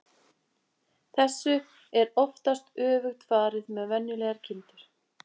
Þessu er oftast öfugt farið með venjulegar kindur.